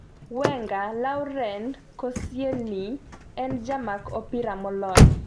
Wenger: Laurent Koscielny en jamak opira molony